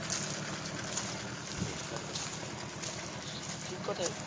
হম একদম ঠিক কথাই